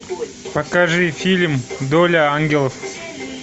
покажи фильм доля ангелов